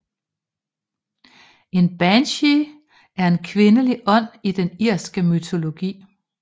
En banshee er en kvindelig ånd i den irske mytologi